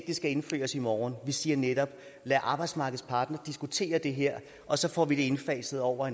det skal indføres i morgen vi siger netop lad arbejdsmarkedets parter diskutere det her og så får vi det indfaset over